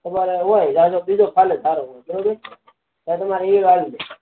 તમારે હોય જાજો બીજો ફાલે તારો બરોબર ત્યાં તમારે ઈયર આવી જાય